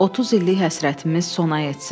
30 illik həsrətimiz sona yetsin.